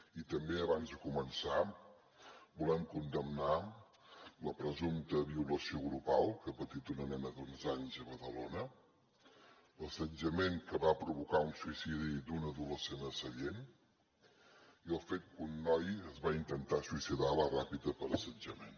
i també abans de començar volem condemnar la presumpta violació grupal que ha patit una nena d’onze anys a badalona l’assetjament que va provocar un suïcidi d’un adolescent a sallent i el fet que un noi es va intentar suïcidar a la ràpita per assetjament